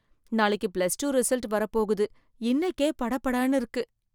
நாளைக்கு plus two result வரப் போகுது இன்னைக்கே படபடன்னு இருக்கு.